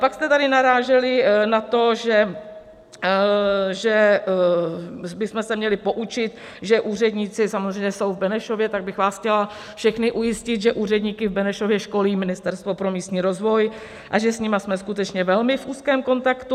Pak jste tady naráželi na to, že bychom se měli poučit, že úředníci, samozřejmě jsou v Benešově, tak bych vás chtěla všechny ujistit, že úředníky v Benešově školí Ministerstvo pro místní rozvoj a že s nimi jsme skutečně ve velmi úzkém kontaktu.